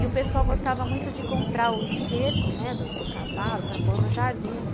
E o pessoal gostava muito de comprar o esterco, né, do do cavalo, para pôr nos jardins.